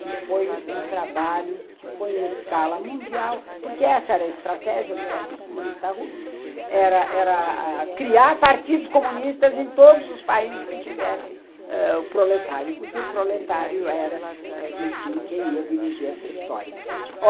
que foi um trabalho que foi em escala mundial, porque essa era a estratégia do Partido Comunista Russo, era era criar partidos comunistas em todos os países que tivessem o proletário, porque o proletário era, enfim, quem ia dirigir essa história.